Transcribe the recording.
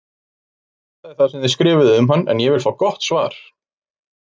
Ég skoðaði sem þið skrifuðuð um hann en ég vil fá gott svar!